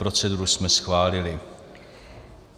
Proceduru jsme schválili.